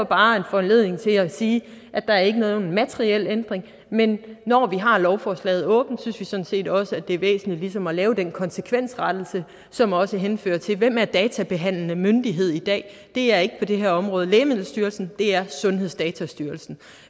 bare en anledning til at sige at der ikke er nogen materiel ændring men når vi har lovforslaget åbent synes vi sådan set også det er væsentligt ligesom at lave den konsekvensrettelse som også henfører til hvem er databehandlende myndighed i dag det er ikke på det her område lægemiddelstyrelsen det er sundhedsdatastyrelsen